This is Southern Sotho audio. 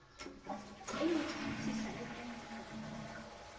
o mo tshwantshisa le taemane